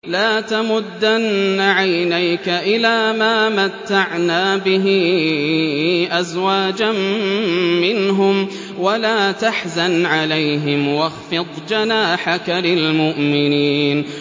لَا تَمُدَّنَّ عَيْنَيْكَ إِلَىٰ مَا مَتَّعْنَا بِهِ أَزْوَاجًا مِّنْهُمْ وَلَا تَحْزَنْ عَلَيْهِمْ وَاخْفِضْ جَنَاحَكَ لِلْمُؤْمِنِينَ